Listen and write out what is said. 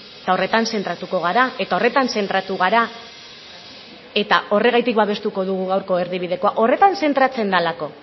eta horretan zentratuko gara eta horretan zentratu gara eta horregatik babestuko dugu gaurko erdibidekoa horretan zentratzen delako